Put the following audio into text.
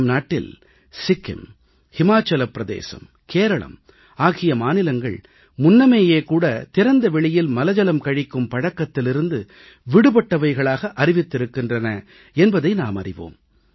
நம் நாட்டில் சிக்கிம் இமாசலப் பிரதேசம் கேரளம் ஆகிய மாநிலங்கள் ஏற்கனவே திறந்தவெளியில் மலஜலம் கழிக்கும் பழக்கத்திலிருந்து விடுபட்டவைகளாக அறிவித்திருக்கின்றன என்பதை நாம் அறிவோம்